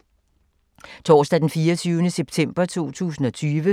Torsdag d. 24. september 2020